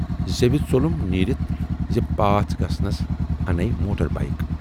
زیوِ ژولُم نیٖرِتھ زِ پاس گژھنس انےَ موٹر بایِک۔